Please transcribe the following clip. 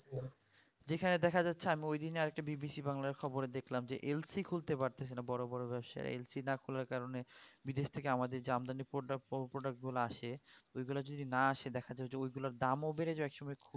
যেখানে দেখা যাচ্ছে আমি ঐদিনই আরেকটা VVC বাংলায় খবরে দেখলাম যে LC খুলতে পারতেছে না বড় বড় ব্যবসায়ী LC না খোলার কারণে বিদেশ থেকে যে আমাদের যে আমদানি product গুলা আসে সেগুলা যদি না আসে দেখা যাই যে ঐগুলার দাম ও বেড়ে যাই এক সময় খুব